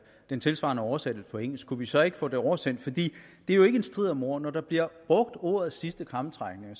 den tilsvarende oversættelse til engelsk kunne vi så ikke få det oversendt det er jo ikke en strid om ord når der bliver brugt ordene sidste krampetrækninger